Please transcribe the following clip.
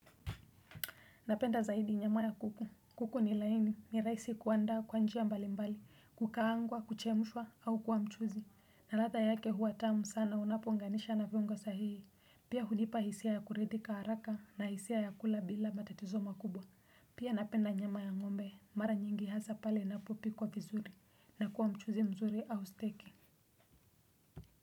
Napenda zaidi nyama ya kuku, kuku ni laini, ni rahisi kuandaa kwa njia mbalimbali, kukaangwa, kuchemshwa, au kuwa mchuzi. Na ladha yake huwa tamu sana, unapounganisha na viungo sahihi. Pia hunipa hisia ya kuridhika haraka na hisia ya kula bila matatizo makubwa. Pia napenda nyama ya ng'ombe, mara nyingi hasa pale inapopikwa vizuri, na kuwa mchuzi mzuri au steki.